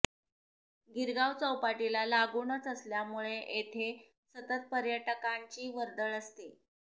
गिरगाव चौपाटीला लागूनच असल्यामुळे येथे सतत पर्यटकांची वर्दळ असते